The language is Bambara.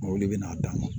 Mɔbili bɛ n'a d'a ma